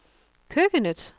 køkkenet